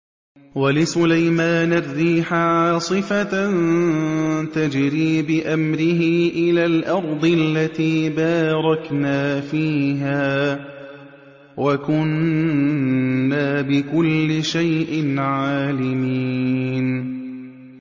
وَلِسُلَيْمَانَ الرِّيحَ عَاصِفَةً تَجْرِي بِأَمْرِهِ إِلَى الْأَرْضِ الَّتِي بَارَكْنَا فِيهَا ۚ وَكُنَّا بِكُلِّ شَيْءٍ عَالِمِينَ